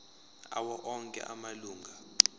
awo onke amalunga